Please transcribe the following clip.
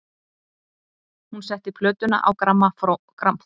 Hún setti plötuna á grammófóninn.